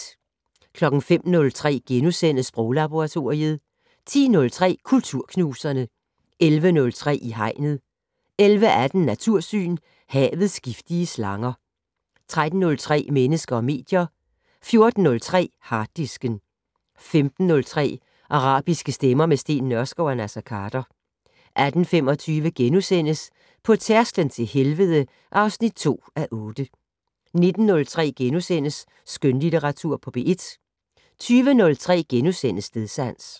05:03: Sproglaboratoriet * 10:03: Kulturknuserne 11:03: I Hegnet 11:18: Natursyn: Havets giftige slanger 13:03: Mennesker og medier 14:03: Harddisken 15:03: Arabiske stemmer - med Steen Nørskov og Naser Khader 18:25: På tærsklen til helvede (2:8)* 19:03: Skønlitteratur på P1 * 20:03: Stedsans *